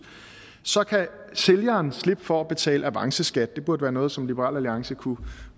så kan sælgeren slippe for at betale avanceskat det burde være noget som liberal alliance kunne